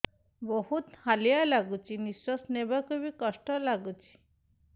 ବହୁତ୍ ହାଲିଆ ଲାଗୁଚି ନିଃଶ୍ବାସ ନେବାକୁ ଵି କଷ୍ଟ ଲାଗୁଚି